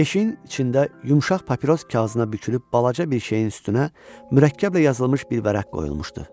Yeşiyin içində yumşaq papiros kağızına bükülüb balaca bir şeyin üstünə mürəkkəblə yazılmış bir vərəq qoyulmuşdu.